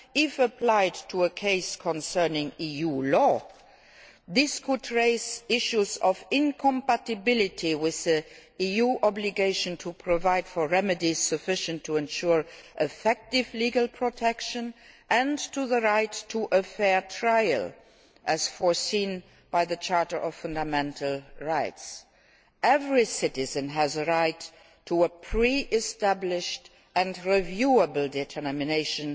If applied to a case concerning EU law, this could raise issues of incompatibility with the EU obligation to provide for remedies sufficient to ensure effective legal protection, and to the right to a fair trial, as provided for by the Charter of Fundamental Rights. Every citizen has the right to have a pre established and reviewable decision